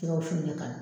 Jɛgɛ wusu in ne ka